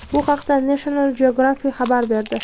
Bu haqda National Geographic xabar berdi.